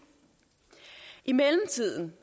i mellemtiden